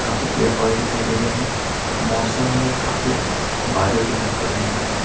काफी पेड़ पौधे दिखाई दे रहे हैं मौसम में काफी बादल दिखाई पड़ रहे हैं।